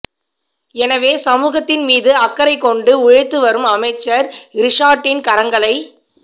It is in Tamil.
எனவே சமூகத்தின் மீது அக்கறை கொண்டு உழைத்து வரும் அமைச்சர் ரிஷாட்டின் கரங்களை